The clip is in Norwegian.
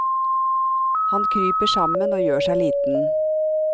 Han kryper sammen og gjør seg liten.